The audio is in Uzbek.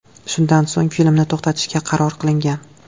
Shundan so‘ng filmni to‘xtatishga qaror qilingan.